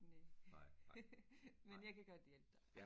Næ men jeg kan godt hjælpe dig